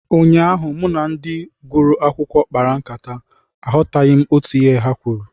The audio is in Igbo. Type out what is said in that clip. Ụnyaahụ, mụ na ndị gụrụ akwụkwọ kpara nkata, aghọtaghị m otú ihe ha kwuru